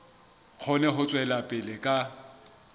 kgone ho tswela pele ka